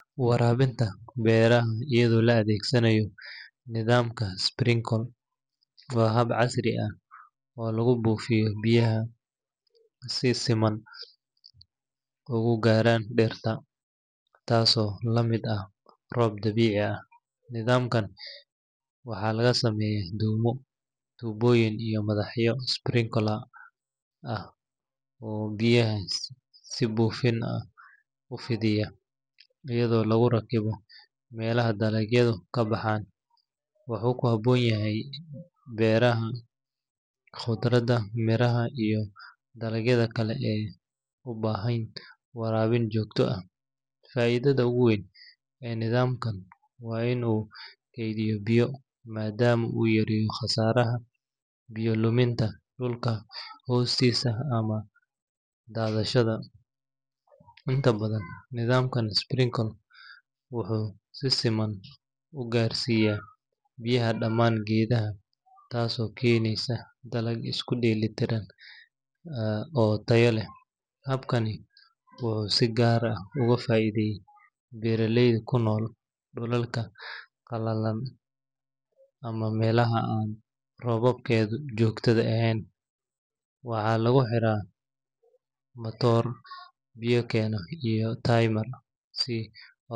Waraabinta beeraha iyadoo la adeegsanayo nidaamka sprinkle waa hab casri ah oo lagu buufiyo biyaha si ay si siman ugu gaaraan dhirta, taasoo la mid ah roob dabiici ah. Nidaamkan waxaa laga sameeyaa dhuumo, tuubooyin iyo madaxyo sprinkler ah oo biyaha si buufin ah u fidiya, iyadoo lagu rakibo meelaha dalagyadu ka baxaan. Wuxuu ku habboon yahay beeraha khudradda, miraha, iyo dalagyada kale ee u baahan waraabin joogto ah. Faa’iidada ugu weyn ee nidaamkan waa in uu kaydiyo biyo, maadaama uu yareeyo khasaaraha biyo luminta dhulka hoostiisa ama daadashada. Inta badan, nidaamka sprinkle wuxuu yareeyaa isticmaalka biyaha ilaa afartan boqolkiiba marka loo eego hababka dhaqameed. Sidoo kale, wuxuu si siman u gaarsiiyaa biyaha dhammaan geedaha, taasoo keenaysa dalag isku dheelli tiran oo tayo leh. Habkani wuxuu si gaar ah uga faa’iiday beeraleyda ku nool dhulalka qallalan ama meelaha aan roobabkoodu joogto ahayn. Waxaa lagu xiraa matoor biyo keena iyo timer si otomaatig ah.